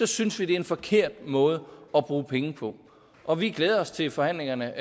synes vi det er en forkert måde at bruge penge på og vi glæder os til forhandlingerne